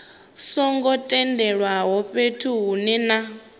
songo tendelwaho fhethu hunwe na